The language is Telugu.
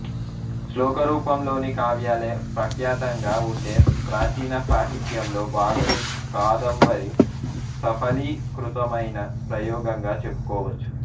శ్లోకరూపంలోని కావ్యాలే ప్రఖ్యాతంగా ఉండే ప్రాచీన సాహిత్యంలో బాణుని కాదంబరి సఫలీకృతమైన ప్రయోగంగా చెప్పుకోవచ్చు